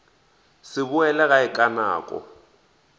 se boele gae ka nako